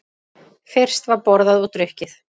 Fyrst var borðað og drukkið.